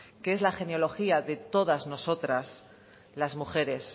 que es la genealogía de todas nosotras las mujeres